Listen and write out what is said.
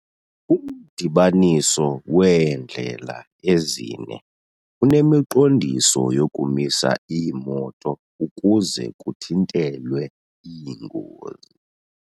Umdibaniso weendlela ezine unemiqondiso yokumisa iimoto ukuze kuthintelwe iingozi.